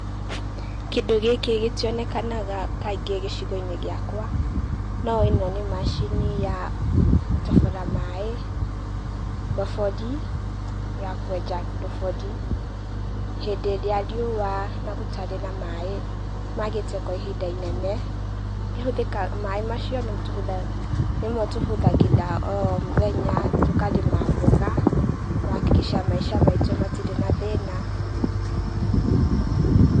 Kĩndũ gĩkĩ gĩtionekanaga kaingĩ gĩcigo-inĩ gĩakwa, no ĩno nĩ macini ya gũtobora maĩ, ndobori ya kwenja ndobori, hĩndĩ ĩrĩa riũa na gũtarĩ na maĩ magĩte kwa ihinda inene, kĩhũthĩkaga ,maĩ macio nĩmo tũhũthagĩra, nĩmo tũhũthagĩra o mũthenya, tũkarĩma mboga kũ hakikisha maica maitũ matirĩ na thĩna